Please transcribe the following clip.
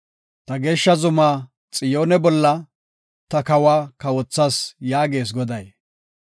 “Ta geeshsha zuma Xiyoone bolla ta kawa kawothas” yaagees goday.